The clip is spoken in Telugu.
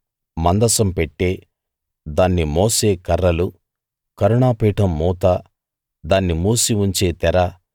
మందసం పెట్టె దాన్ని మోసే కర్రలు కరుణా పీఠం మూత దాన్ని మూసి ఉంచే తెర